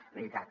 és veritat